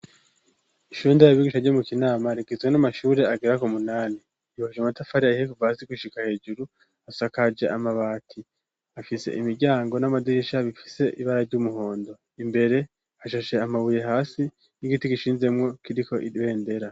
ishunda ya bigisha ryo mu kinama ,rigizwe n'amashuri agera ku munani , yubakishijwe amatafari ahiye ,kuva hasi gushika hejuru ,asakaje amabati afise imiryango n'amadirisha bifise ibara ry'umuhondo ,imbere hashashe amabuye hasi ,n'igiti gishinzemwo, kiriko ibendera.